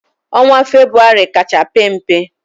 Onwa febụwarị kacha pe mpe